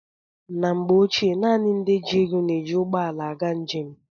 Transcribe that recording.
Na mgbe ochie, naanị ndị ji ego na-eji ụgbọala aga njem.